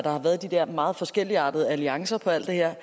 har været de der meget forskelligartede alliancer på alt det her